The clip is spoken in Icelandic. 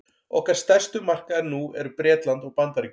okkar stærstu markaðir nú eru bretland og bandaríkin